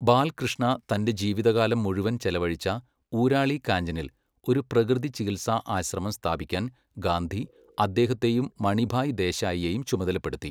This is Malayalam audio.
ബാൽകൃഷ്ണ തന്റെ ജീവിതകാലം മുഴുവൻ ചെലവഴിച്ച ഊരാളി കാഞ്ചനിൽ ഒരു പ്രകൃതി ചികിത്സ ആശ്രമം സ്ഥാപിക്കാൻ ഗാന്ധി അദ്ദേഹത്തെയും മണിഭായ് ദേശായിയെയും ചുമതലപ്പെടുത്തി.